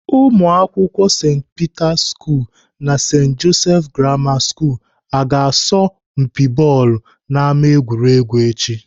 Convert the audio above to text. Ụmụakwụkwọ St Peter school na St Joseph Grammar school aga asọ mpi bọọlụ n'ámá egwuregwu echi?